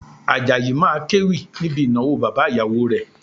Àjàyí máa kéwì níbi ìnáwó bàbá ìyàwó rẹ̀